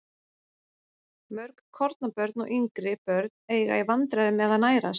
Mörg kornabörn og yngri börn eiga í vandræðum með að nærast.